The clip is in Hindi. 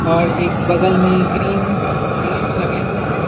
और एक बगल में ग्रीन पेड़ लगे हुए हैं।